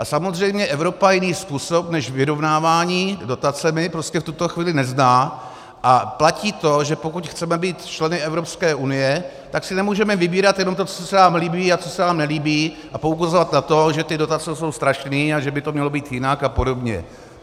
A samozřejmě Evropa jiný způsob než vyrovnávání dotacemi prostě v tuto chvíli nezná a platí to, že pokud chceme být členy Evropské unie, tak si nemůžeme vybírat jenom to, co se nám líbí a co se nám nelíbí a poukazovat na to, že ty dotace jsou strašný a že by to mělo být jinak a podobně.